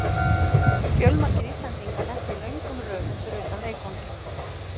Fjölmargir Íslendingar lentu í löngum röðum fyrir utan leikvanginn.